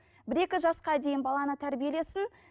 бір екі жасқа дейін баланы тәрбиелесін